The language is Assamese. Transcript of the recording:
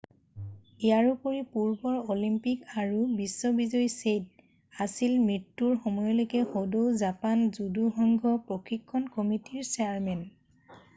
ইয়াৰোপৰি পূৰ্বৰ অলিম্পিক আৰু বিশ্ব বিজয়ী ছেইট' আছিল মৃত্যুৰ সময়লৈকে সদৌ জাপান জুদু সংঘ প্ৰশিক্ষণ কমিটিৰ চেয়াৰমেন